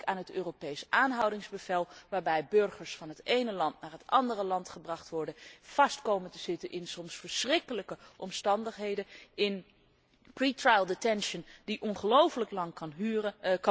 ik denk aan het Europees aanhoudingsbevel, waarbij burgers van het ene land naar het andere land gebracht worden, vast komen te zitten onder soms verschrikkelijke omstandigheden in voorarrest dat ongelooflijk lang kan duren